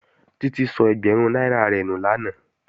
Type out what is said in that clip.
Títí sọ ẹgbẹ̀rún náírà rẹ̀ nù lánàá